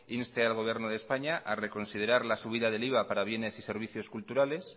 inste al gobierno de españa a reconsiderar la subida del iva para bienes y servicios culturales